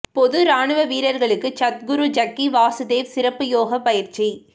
பொது ராணுவ வீரர்களுக்கு சத்குரு ஜக்கி வாசுதேவ் சிறப்பு யோகா பயிற்சி